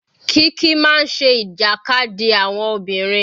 Kiki máa ń ṣe ìjàkadì àwọn obìnrin.